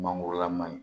Mangorola man ɲi